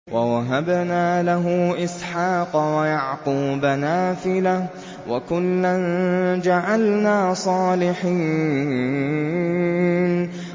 وَوَهَبْنَا لَهُ إِسْحَاقَ وَيَعْقُوبَ نَافِلَةً ۖ وَكُلًّا جَعَلْنَا صَالِحِينَ